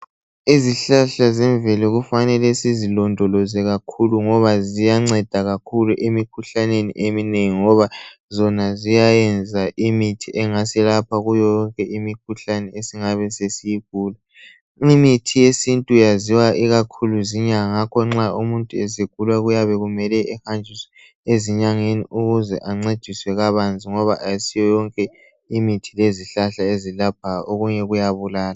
Izihlahla zemvelo kufanele ukuthi sizilondoloze kakhulu ngoba ziyanceda kakhulu emikhuhlaneni eminengi ngoba zona ziyayenza imithi engasilapha kuyo yonke imikhuhlane esingabe siyigula. Imithi yesintu yaziwa ikakhulu zinyanga ngakho nxa umuntu esegula kuyabe kumele ahanjiswe ezinyangeni ukuze ancediswe kabanzi ngoba kayisiyo yonke imithi lezihlahla ezilaphayo, okunye kuyabulala.